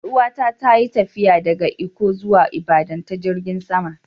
Yar uwa ta ta yi tafiya daga Ikko zuwa Ibadan ta jirigin sama.